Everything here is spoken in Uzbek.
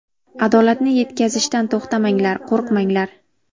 Adolatni yetkazishdan to‘xtamanglar, qo‘rqmanglar.